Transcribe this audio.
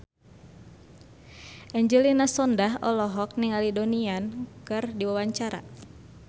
Angelina Sondakh olohok ningali Donnie Yan keur diwawancara